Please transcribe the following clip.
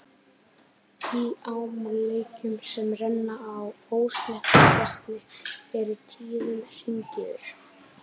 Í ám og lækjum, sem renna á ósléttum botni, eru tíðum hringiður.